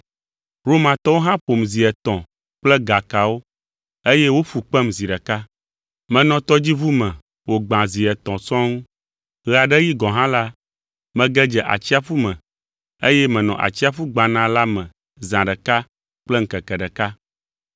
Romatɔwo hã ƒom zi etɔ̃ kple gakawo, eye woƒu kpem zi ɖeka. Menɔ tɔdziʋu me wògbã zi etɔ̃ sɔŋ; ɣe aɖe ɣi gɔ̃ hã la, mege dze atsiaƒu me, eye menɔ atsiaƒu gbana la me zã ɖeka kple ŋkeke ɖeka.